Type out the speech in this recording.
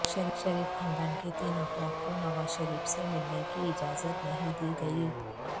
شریف خاندان کے تین افراد کو نوازشریف سے ملنے کی اجازت نہیں دی گئی